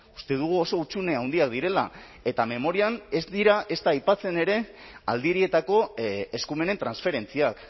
uste dugu oso hutsune handiak direla eta memorian ez dira ezta aipatzen ere aldirietako eskumenen transferentziak